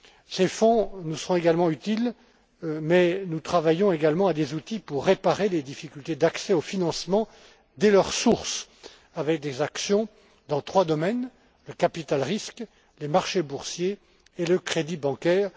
Ces fonds nous seront utiles mais nous travaillons également à des outils pour réparer des difficultés d'accès au financement dès leur source, avec des actions dans trois domaines le capital risque, les marchés boursiers et le crédit bancaire.